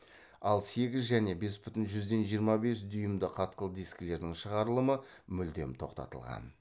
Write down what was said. ал сегіз және бес бүтін жүзден жиырма бес дюймді қатқыл дискілердің шығарылымы мүлдем тоқтатылған